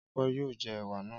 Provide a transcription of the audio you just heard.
Ọpẹ́ yóò jẹ ẹ̀wà náà.